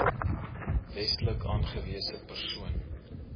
wetlik aangewese persoon